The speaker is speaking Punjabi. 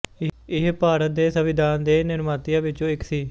ਇਹ ਭਾਰਤ ਦੇ ਸੰਵਿਧਾਨ ਦੇ ਨਿਰਮਾਤਿਆਂ ਵਿੱਚੋਂ ਇੱਕ ਸੀ